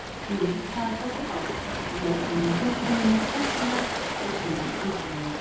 Jú, það er þessi bátur, jörðin með húsunum og skepnurnar og síðan Andrea.